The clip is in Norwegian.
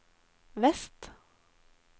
vest